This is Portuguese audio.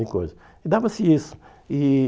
E dava-se isso. E